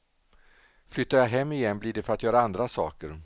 Flyttar jag hem igen blir det för att göra andra saker.